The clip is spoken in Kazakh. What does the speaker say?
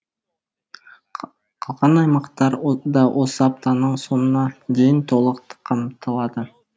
қалған аймақтар да осы аптаның соңына дейін толық қамтылады